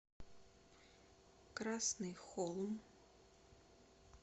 красный холм